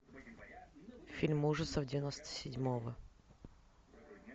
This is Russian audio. фильм ужасов девяносто седьмого